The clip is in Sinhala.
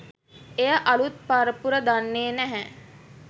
එය අලුත් පරපුර දන්නේ නැහැ.